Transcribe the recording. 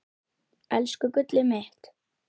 Elsku gullið mitt.